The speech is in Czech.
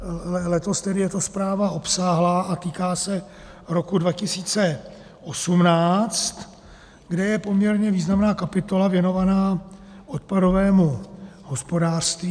Letos tedy je to zpráva obsáhlá a týká se roku 2018, kde je poměrně významná kapitola věnovaná odpadovému hospodářství.